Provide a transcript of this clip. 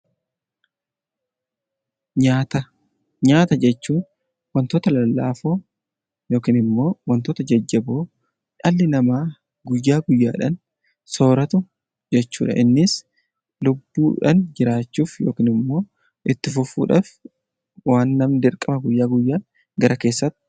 Nyaata jechuun wantoota lallaafoo yookiin immoo wantoota jajjaboo dhalli namaa guyyaa guyyaadhaan sooratu jechuudha. Innis lubbuudhaan jiraachuuf yookiin immoo itti fufuuf waan namni guyyaa guyyaatti argachuu qabudha